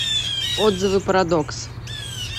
отзывы парадокс